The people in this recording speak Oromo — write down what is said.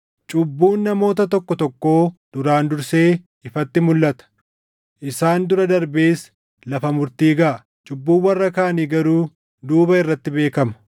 Cubbuun namoota tokko tokkoo duraan dursee ifatti mulʼata; isaan dura darbees lafa murtii gaʼa; cubbuun warra kaanii garuu duuba irratti beekama.